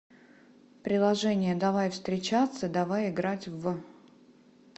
приложение давай встречаться давай играть в